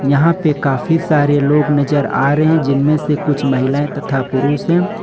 यहां पर काफी सारे लोग नजर आ रहे हैं जिनमें से कुछ महिलाएं तथा पुरुष हैं।